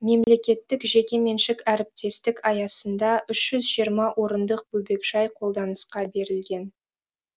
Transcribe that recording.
мемлекеттік жекеменшік әріптестік аясында үш жүз жиырма орындық бөбекжай қолданысқа берілген